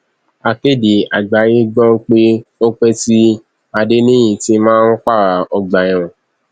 akéde àgbáyé gbọ pé ó pẹ tí adẹniyítì máa ń pààrà ọgbà ẹwọn